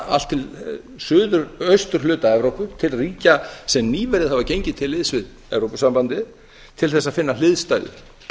allt austurhluta evrópu til ríkja sem nýverið hafa gengið til liðs við evrópusambandið til þess að finna hliðstæður